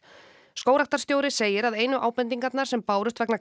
skógræktarstjóri segir að einu ábendingarnar sem bárust vegna